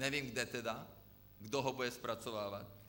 Nevím, kde tedy, kdo ho bude zpracovávat.